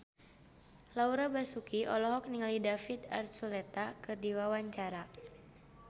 Laura Basuki olohok ningali David Archuletta keur diwawancara